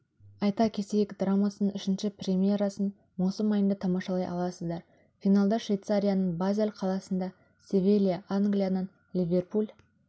айта кетейік драмасының үшінші премьерасын маусым айында тамашалай аласыздар финалда швейцарияның базель қаласында севилья англияның ливерпуль